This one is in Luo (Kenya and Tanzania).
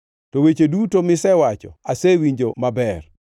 “To weche duto misewacho asewinjo maber.